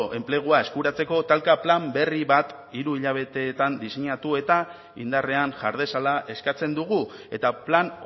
enplegua eskuratzeko talka plan berri bat hiru hilabeteetan diseinatu eta indarrean jar dezala eskatzen dugu eta plan